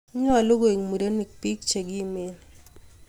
nyoluu koek murenik biik chekimen